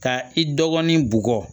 Ka i dɔgɔnin bɔgɔ